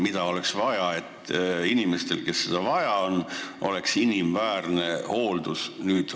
Mida oleks vaja selleks, et inimesed, kellel seda vaja on, saaksid hooldekodus inimväärset hooldust?